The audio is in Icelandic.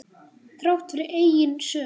Þrátt fyrir eigin sök.